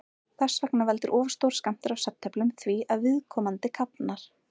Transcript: Þess vegna veldur of stór skammtur af svefntöflum því að viðkomandi kafnar.